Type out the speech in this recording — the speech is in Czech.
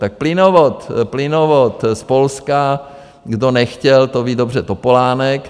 Tak plynovod z Polska - kdo nechtěl, to ví dobře Topolánek.